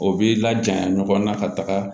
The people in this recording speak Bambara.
O b'i laja ɲɔgɔn na ka taga